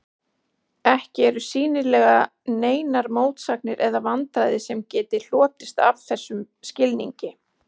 Ekki eru sýnilega neinar mótsagnir eða vandræði sem geti hlotist af þessum skilningi.